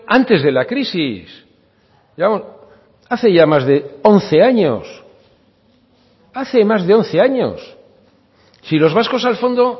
antes de la crisis hace ya más de once años hace más de once años si los vascos al fondo